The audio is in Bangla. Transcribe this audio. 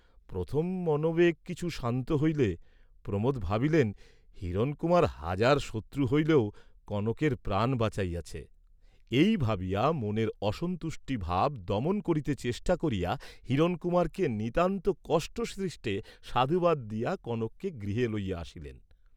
প্রথম মনোবেগ কিছু শান্ত হইলে প্রমোদ ভাবিলেন হিরণকুমার হাজার শত্রু হইলেও কনকের প্রাণ বাঁচাইয়াছে, এই ভাবিয়া মনের অসন্তুষ্টি ভাব দমন করিতে চেষ্টা করিয়া হিরণকুমারকে নিতান্ত কষ্টসৃষ্টে সাধুবাদ দিয়া কনককে গৃহে লইয়া আসিলেন।